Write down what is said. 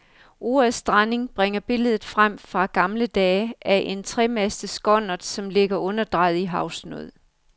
Ordet stranding bringer billedet frem fra gamle dage af en tremastet skonnert, som ligger underdrejet i havsnød.